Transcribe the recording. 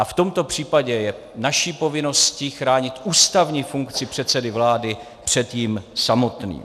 A v tomto případě je naší povinností chránit ústavní funkci předsedy vlády před ním samotným.